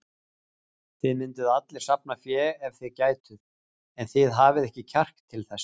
Þið mynduð allir safna fé ef þið gætuð, en þið hafið ekki kjark til þess.